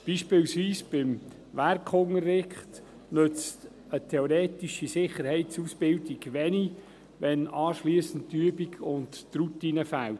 Beim Werkunterricht beispielsweise nützt eine theoretische Sicherheitsausbildung wenig, wenn dann die Übung und die Routine fehlen.